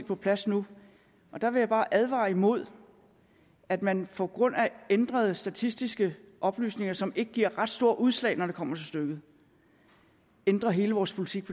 på plads nu og der vil jeg bare advare imod at man på grund af ændrede statistiske oplysninger som ikke giver ret store udslag når det kommer til stykket ændrer hele vores politik